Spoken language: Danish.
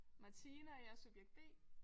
Martine og jeg er subjekt B